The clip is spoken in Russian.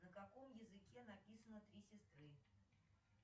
на каком языке написано три сестры